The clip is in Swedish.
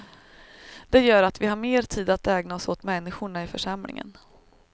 Det gör att vi har mer tid att ägna oss åt människorna i församlingen.